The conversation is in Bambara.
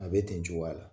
A bɛ ten cogoya la